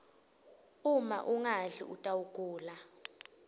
uma ungadli utawgula